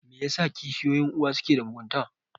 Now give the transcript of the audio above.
Me yasa kishiyoyin uwa ke da mugunta?